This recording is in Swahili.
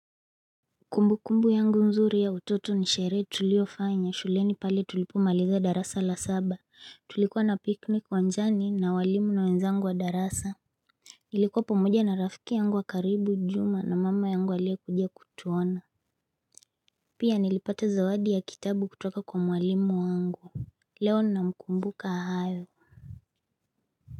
Kumbu kumbu yangu nzuri ya utoto nishere tulio fanya shuleni pale tulipumaliza darasa la saba tulikuwa na piknik uwanjani na walimu na wenzangu wa darasa Ilikuwa pamoja na rafiki yangu wa karibu njuma na mama yangu alia kujia kutuona Pia nilipata zawadi ya kitabu kutoka kwa mwalimu wangu Leo na mkumbuka ahayo.